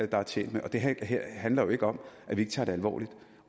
der er tjent med det her handler jo ikke om at vi ikke tager det alvorligt